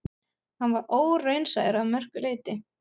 Hann var óraunsær að mörgu leyti.